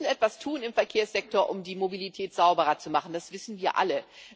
Wir müssen etwas tun im Verkehrssektor, um die Mobilität sauberer zu machen das wissen wir alle.